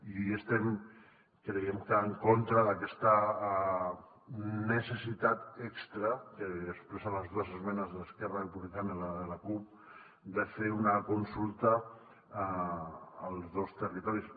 i estem en contra d’aquesta necessitat extra que expressen les dues esmenes d’esquerra republicana i la de la cup de fer una consulta als dos territoris